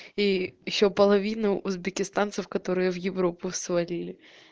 и ещё половину узбекистанцев которые в европу свалили